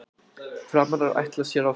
Framarar ætla sér áfram